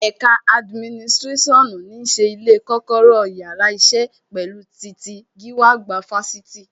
Ẹ̀ka adiminisirasionu ní ṣe ilé, kọ́kọ́rọ́ yàrá isẹ, pẹ̀lú titi gíwá àgbà Fáṣítì